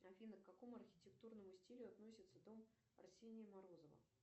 афина к какому архитектурному стилю относится дом арсения морозова